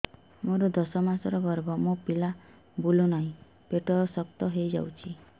ମୋର ଦଶ ମାସର ଗର୍ଭ ମୋ ପିଲା ବୁଲୁ ନାହିଁ ପେଟ ଶକ୍ତ ହେଇଯାଉଛି